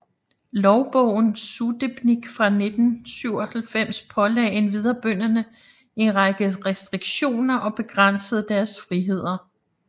Lovbogen Sudebnik fra 1497 pålagde endvidere bønderne en række restriktioner og begrænsede deres friheder